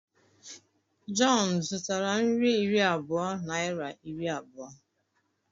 John zụtara nri iri abụọ naịra iri abụọ?